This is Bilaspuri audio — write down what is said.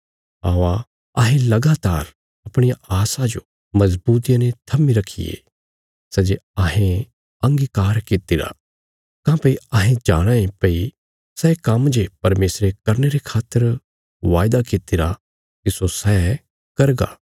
औआ अहें लगातार अपणिया आशा जो मजबूतिया ने थम्मी रखिये सै जे अहें अंगीकार कित्तिरा काँह्भई अहें जाणाँ ये भई सै काम्म जे परमेशरे करने रे खातर वायदा कित्तिरा तिस्सो सै करगा